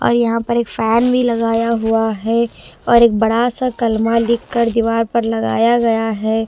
और यहाँ पर एक फैन भी लगाया हुआ है और एक बड़ा सा कलमा लिखकर दीवार पर लगाया गया है।